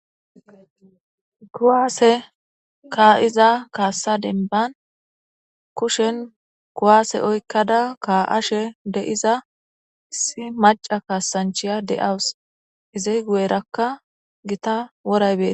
Kuwaase ka'iaa kaassa denban kushen kuwaase oykkada kaa'ash deiza issi maca kaasanchiya de'awus iziy guyerakka gita woraybees.